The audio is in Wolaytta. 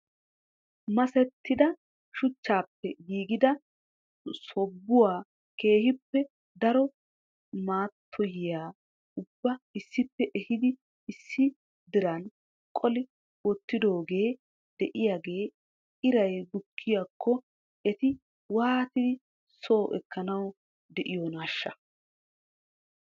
Masettida shuchchappe giiggida sobuwan keehippe daro maatyuwa ubba issippe ehidi issi diran qolli wottidooge de'iyaaga iray bukkiyaakko eti waattidi soo ekkanaw de'iyoonashsha?